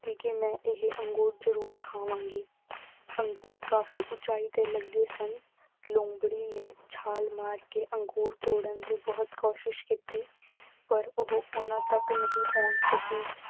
ਕੀਤੀ ਕਿ ਮੈਂ ਇਹ ਅੰਗੂਰ ਜ਼ਰੂਰ ਖਾਵਾਂਗੀ। ਅੰਗੂਰ ਕਾਫ਼ੀ ਉਚਾਈ ਤੇ ਲੱਗੇ ਸਨ। ਲੂੰਬੜੀ ਨੇ ਛਾਲ ਮਾਰ ਕੇ ਅੰਗੂਰ ਤੋੜਨ ਦੀ ਬਹੁਤ ਕੋਸ਼ਿਸ਼ ਕੀਤੀ, ਪਰ ਉਹ, ਉਨ੍ਹਾਂ ਤੱਕ ਨਹੀਂ ਪਹੁੰਚ ਸਕੀ।